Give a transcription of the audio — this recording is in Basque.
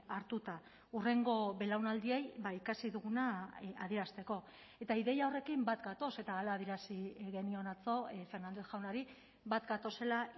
hartuta hurrengo belaunaldiei ikasi duguna adierazteko eta ideia horrekin bat gatoz eta hala adierazi genion atzo fernández jaunari bat gatozela